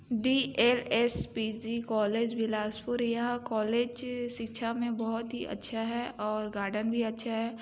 DL. S .P .G. College Bilaspur यह college शिक्षा मे बहुत ही अच्छा है और गार्डन भी बहुत अच्छा है।